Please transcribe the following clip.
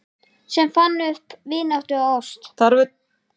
Sem fann upp vináttu og ást